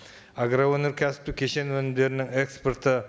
агроөнеркәсіптік кешен өнімдерінің экспорты